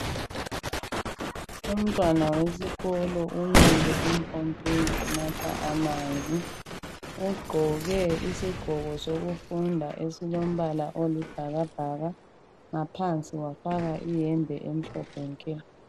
Umntwana wesikolo umile empompini unatha amanzi ugqoke isigqoko sokufunda esilombala oyisibhakabhaka ngaphansi wafaka iyembe emhlophe nke.